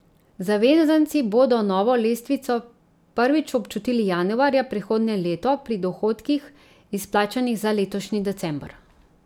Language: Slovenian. Zavezanci bodo novo lestvico prvič občutili januarja prihodnje leto, pri dohodkih, izplačanih za letošnji december.